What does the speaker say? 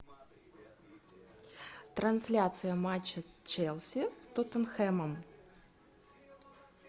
трансляция матча челси с тоттенхэмом